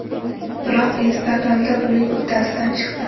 Biroq Instagramda buning uddasidan chiqdi.